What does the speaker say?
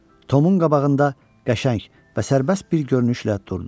Tomun qabağında qəşəng və sərbəst bir görünüşlə durdu.